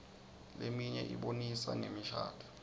leminye ibonisa ngemishadvo